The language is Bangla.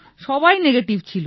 সবাই নেগেটিভ ছিল